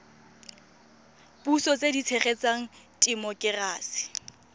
puso tse di tshegetsang temokerasi